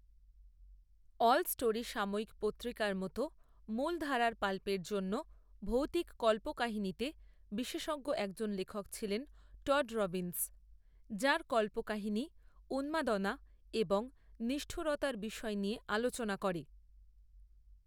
All story সাময়িক পত্রিকার মতো মূলধারার পাল্পের জন্য ভৌতিক কল্পকাহিনীতে বিশেষজ্ঞ একজন লেখক ছিলেন টড রবিনস, যাঁর কল্পকাহিনী উন্মাদনা এবং নিষ্ঠুরতার বিষয় নিয়ে আলোচনা করে।